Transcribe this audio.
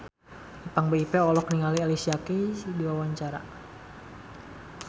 Ipank BIP olohok ningali Alicia Keys keur diwawancara